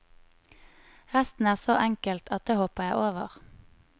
Resten er så enkelt at det hopper jeg over.